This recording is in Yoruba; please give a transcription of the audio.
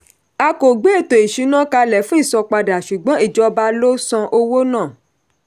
a kò gbé ètò-ìṣúnà kalẹ̀ fún ìsanpadà ṣùgbọ́n ìjọba ló san owó náà.